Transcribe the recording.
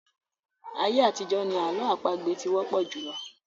Ayé àtijọ́ ni àlọ́ àpagbè ti wọ́pọ̀ jùlọ.